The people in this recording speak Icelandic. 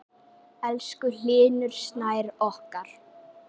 Elsku Hlynur Snær okkar.